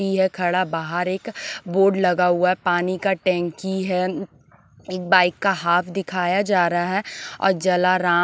P है खड़ा बाहर एक बोर्ड लगा हुआ है पानी का टंकी है एक बाइक का हाफ दिखाया जा रहा है और जलाराम--